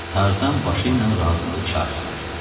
Tarzan başı ilə razılıq işarəsi verdi.